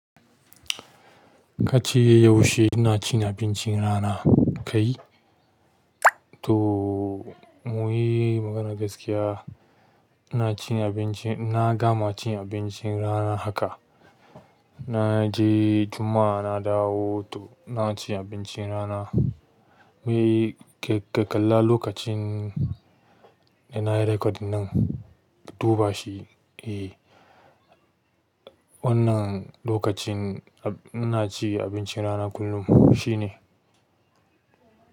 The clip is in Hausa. Ka ce yaushe ina cin abincin rana, kai? To muyi magana gaskiya, ina cin abinci, na gama cin abincin rana haka. Na je Juma'a na dawo, to na ci abincin rana. Muyi ka kalla lokacin ina yi record nan, duba shi, eh. Wannan lokacin inacin abincin rana kullum, shine.